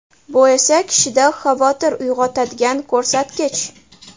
Bu esa kishida xavotir uyg‘otadigan ko‘rsatkich.